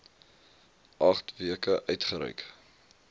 agt weke uitgereik